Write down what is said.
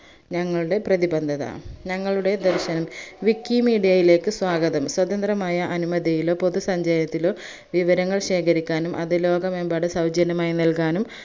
ഞങ്ങളുടെ പ്രദിപന്തത ഞങ്ങളുടെ ദർശനം wikimedia യിലേക്ക് സ്വാഗതം സ്വതന്ത്രമായ അനുമതിയിലോ പൊതുസഞ്ചയത്തിലോ വിവരങ്ങൾ ശേഖരിക്കാനും അത് ലോകമെമ്പാടും സൗജന്യമായി നൽകാനും